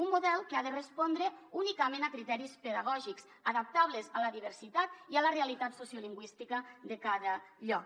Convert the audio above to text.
un model que ha de respondre únicament a criteris pedagògics adaptables a la diversitat i a la realitat sociolingüística de cada lloc